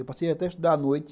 Eu passei até a estudar à noite.